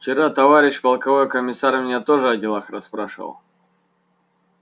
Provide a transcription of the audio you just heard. вчера товарищ полковой комиссар меня тоже о делах расспрашивал